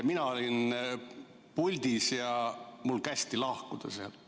Mina olin puldis ja mul kästi sealt lahkuda.